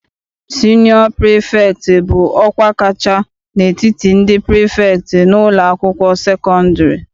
Sinịọ prifektị bụ ọkwa kacha n'etiti ndị prifektị n'ụlọakwụkwọ sekọndịrị.